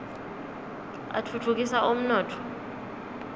atfutfu kisa umnotfo